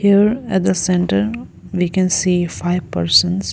there at the centre we can see five persons.